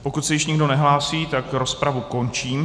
Pokud se již nikdo nehlásí, tak rozpravu končím.